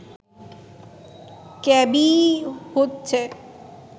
KBE হচ্ছে